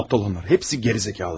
Axmaqlar onlar, hamısı gicdir.